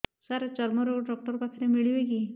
ସାର ଚର୍ମରୋଗ ଡକ୍ଟର ପାଖରେ ମିଳିବେ କି